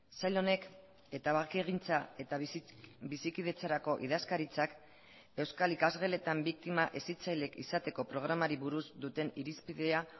sail honek eta bakegintza eta bizikidetzarako idazkaritzak euskal ikasgeletan biktima hezitzaileek izateko programari buruz duten irizpidea